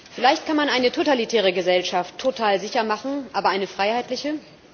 Vielleicht kann man eine totalitäre Gesellschaft total sicher machen, aber eine freiheitliche?